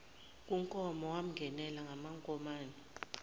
kunkomo wamngenela ngamankomane